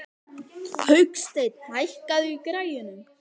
Hauksteinn, hækkaðu í græjunum.